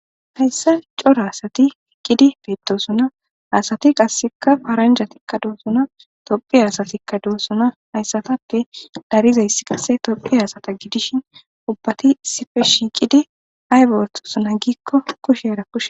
hayssa co'ra asati qidi beeddosona asati qasseka faranja tikka doosona tophi asatikka doosona hayssatappe darizayssi qasse tophi aasata gidishin ubbati sife shiiqidi aybertosona giikko kusherakush